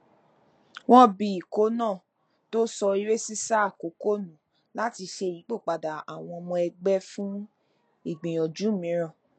wọn bi ikọ náà tí ó sọ eré sísá àkọkọ nù láti ṣe ìyípòpadà àwọn ọmọ ẹgbẹ fún ìgbìyànjú mìíràn